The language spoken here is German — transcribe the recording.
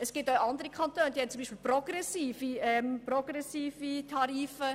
Andere Kantone haben beispielsweise progressive Tarife.